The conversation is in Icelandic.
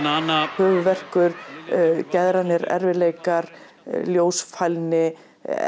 höfuðverkur geðrænir erfiðleikar ljósfælni